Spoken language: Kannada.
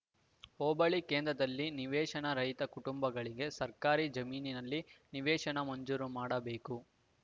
ಹೋಬಳಿ ಕೇಂದ್ರದಲ್ಲಿ ನಿವೇಶನ ರಹಿತ ಕುಟುಂಬಗಳಿಗೆ ಸರ್ಕಾರಿ ಜಮೀನಿನಲ್ಲಿ ನಿವೇಶನ ಮಂಜೂರು ಮಾಡಬೇಕು